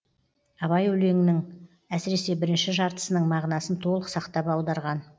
абай өлеңнің әсіресе бірінші жартысының мағынасын толық сақтап аударған